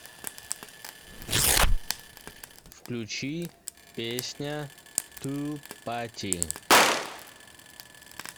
включи песня ту пати